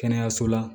Kɛnɛyaso la